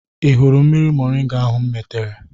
Ị hụrụ mmiri moringa ahụ m metere?